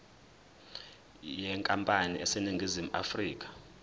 yenkampani eseningizimu afrika